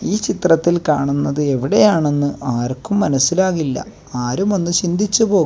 ഈ ചിത്രത്തിൽ കാണുന്നത് എവിടെയാണെന്ന് ആർക്കും മനസ്സിലാകില്ല ആരും ഒന്ന് ചിന്തിച്ച് പോകും.